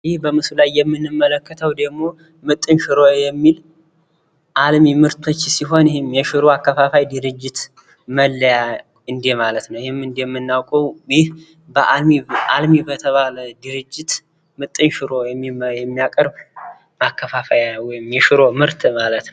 ይህ በምስሉ ላይ የምንመለከተው ምጥን ሽሮ የሚል አልማ አከፋፋይ ድርጅት መለያ ነው። አልሚ በሚባል ድርጅት ሽሮን የሚያቀርብ ነው።